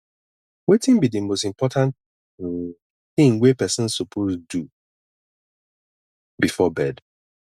wetin be di most important um thing wey pesin suppose do before bed